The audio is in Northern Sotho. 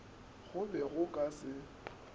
go be go ka se